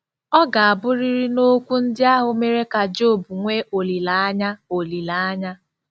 Ọ ga-abụrịrị na okwu ndị ahụ mere ka Job nwee olileanya olileanya.